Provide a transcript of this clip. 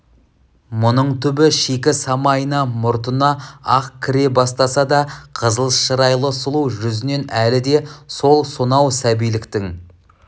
мұның түбі шикі самайына мұртына ақ кіре бастаса да қызыл шырайлы сұлу жүзінен әлі де сол сонау сәбиліктің